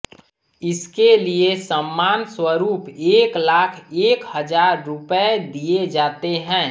इसके लिए सम्मान स्वरूप एक लाख एक हजार रुपये दिये जाते हैं